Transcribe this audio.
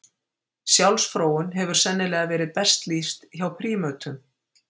Sjálfsfróun hefur sennilega verið best lýst hjá prímötum.